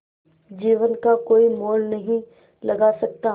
जीवन का कोई मोल नहीं लगा सकता